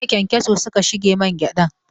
Jiya ƙyankyaso suka shige mangyadan.